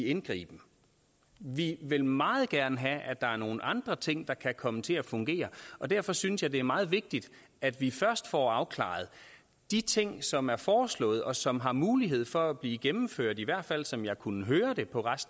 indgriben vi vil meget gerne have at der er nogle andre ting der kan komme til at fungere og derfor synes jeg det er meget vigtigt at vi først får afklaret de ting som er foreslået og som har mulighed for at blive gennemført i hvert fald som jeg kunne høre det på